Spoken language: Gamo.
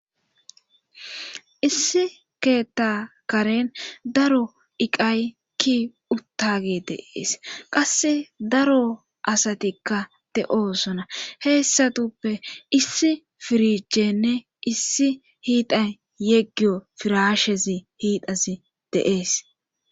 issi keetta karen daro iqay ki uttage deees qasse daro asatikka de7osona heessatuppe issi firichenne issi hiiday yeggiyo firashezi hiidasi deees